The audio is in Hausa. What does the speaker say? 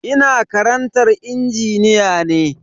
Ina karantar injiniya ne.